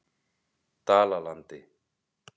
Dalalandi